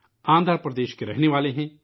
آندھرا پردیش کے رہنے والے ہیں